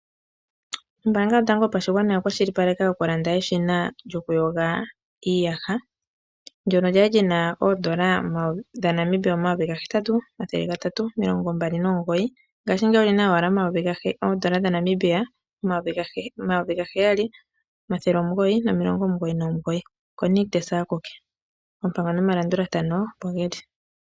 Ombaanga yotango yopashigwana oya kwashilipaleka okulanda eshina lyoku yoga iiyaha ndono kwali li na oondola dha Namibia omayovi ga hetatu omayovi gatatu omilongombali nomugoyi, ngashingeyi oli na owala oondola dha Namibia oondola omayovi ga heyali omathele omugoyi no milongo omugoyi nomugoyi. Oko Nictus akuke .oompango nomalandulathano opo geli.